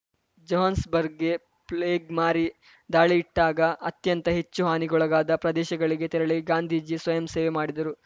ಜೋಹಾನ್ಸ್‌ಬರ್ಗ್‌ಗೆ plague ಮಾರಿ ದಾಳಿಯಿಟ್ಟಾಗ ಅತ್ಯಂತ ಹೆಚ್ಚು ಹಾನಿಗೊಳಗಾದ ಪ್ರದೇಶಗಳಿಗೆ ತೆರಳಿ ಗಾಂಧೀಜಿ ಸ್ವಯಂ ಸೇವೆ ಮಾಡಿದರು